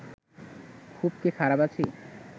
খুব কি খারাপ আছি